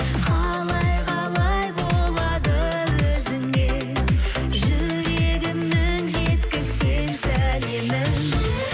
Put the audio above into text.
қалай қалай болады өзіңе жүрегімнің жеткізсем сәлемін